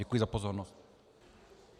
Děkuji za pozornost.